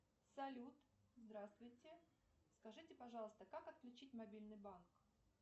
салют здравствуйте скажите пожалуйста как отключить мобильный банк